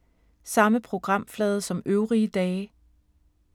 Samme programflade som øvrige dage